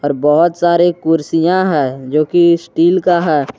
बहोत सारे कुर्सियां है जो कि स्टील का है।